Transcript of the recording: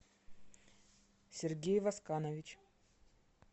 сергей восканович